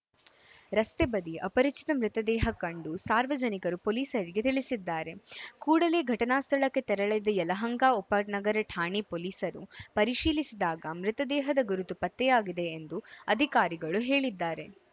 ರಸ್ತೆ ಬದಿ ಅಪರಿಚಿತ ಮೃತದೇಹ ಕಂಡು ಸಾರ್ವಜನಿಕರು ಪೊಲೀಸರಿಗೆ ತಿಳಿಸಿದ್ದಾರೆ ಕೂಡಲೇ ಘಟನಾ ಸ್ಥಳಕ್ಕೆ ತೆರಳಿದ ಯಲಹಂಕ ಉಪನಗರ ಠಾಣೆ ಪೊಲೀಸರು ಪರಿಶೀಲಿಸಿದಾಗ ಮೃತದೇಹದ ಗುರುತು ಪತ್ತೆಯಾಗಿದೆ ಎಂದು ಅಧಿಕಾರಿಗಳು ಹೇಳಿದ್ದಾರೆ